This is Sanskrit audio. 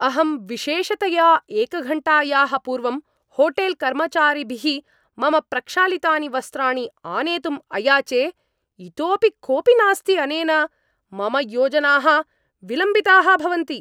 अहं विशेषतया एकघण्टायाः पूर्वं होटेल् कर्मचारिभिः मम प्रक्षालितानि वस्त्राणि आनेतुम् अयाचे, इतोपि कोपि नास्ति अनेन मम योजनाः विलम्बिताः भवन्ति!